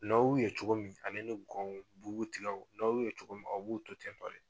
N'aw ye u ye cogo min ale ni gɔn o bubu tigaw o n'aw ye u ye cogo min a b'u to ten nɔ dɛ.